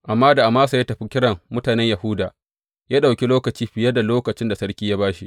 Amma da Amasa ya tafi kiran mutanen Yahuda, ya ɗauki lokaci fiye da lokacin da sarki ya ba shi.